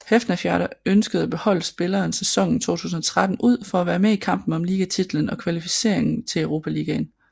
Hafnarfjarðar ønskede at beholde spilleren sæsonen 2013 ud for at være med i kampen om ligatitlen og kvalificering til Europaligaen